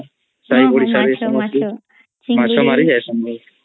ହଁ ହଁ ମାଛ ମାଛ